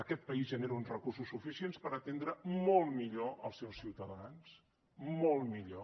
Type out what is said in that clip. aquest país genera uns recursos suficients per atendre molt millor els seus ciutadans molt millor